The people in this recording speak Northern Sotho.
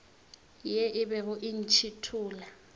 ye e bego e ntšhithola